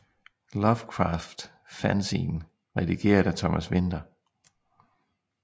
Lovecraft fanzine redigeret af Thomas Winther